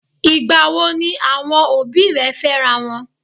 Ìgbà wo ni àwọn òbí rẹ̀ fẹ́rawọn?